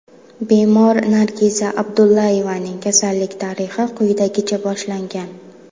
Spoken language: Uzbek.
Bemor Nargiza Ubaydullayevaning kasallik tarixi quyidagicha boshlangan.